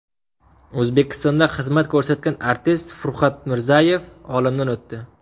O‘zbekistonda xizmat ko‘rsatgan artist Furqat Mirzayev olamdan o‘tdi.